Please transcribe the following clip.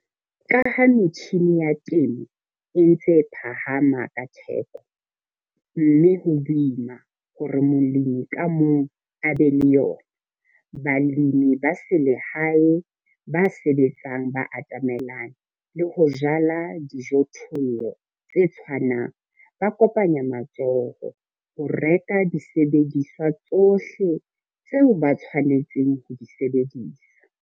Ka ha metjhine ya temo e ntse e phahama ka theko, mme ho boima hore molemi ka mong a be le yona, balemi ba selehae ba sebetsang ba atamelane le ho jala dijothollo tse tshwanang, ba kopanya matsoho ho reka disebediswa tsohle tseo ba tshwanetseng ho di sebedisa.